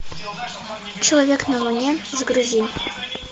человек на луне загрузи